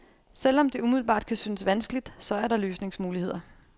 Selv om det umiddelbart kan synes vanskeligt, så er der løsningsmuligheder.